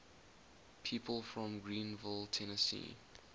people from greeneville tennessee